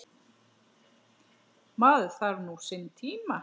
Maður þarf nú sinn tíma.